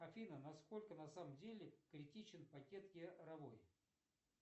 афина на сколько на самом деле критичен пакет яровой